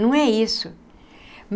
Não é isso.